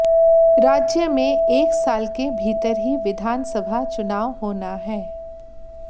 राज्य में एक साल के भीतर ही विधानसभा चुनाव होना है